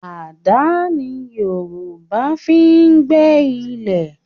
Àdá ni Yorùbá fi ń gbẹ́ ilẹ̀